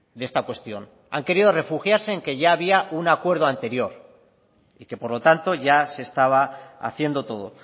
de esta cuestión han querido refugiarse en que ya había un acuerdo anterior y que por lo tanto ya se estaba haciendo todo